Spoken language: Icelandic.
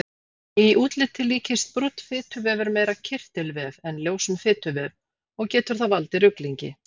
Í útliti líkist brúnn fituvefur meira kirtilvef en ljósum fituvef og getur það valdið ruglingi.